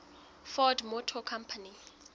ford motor company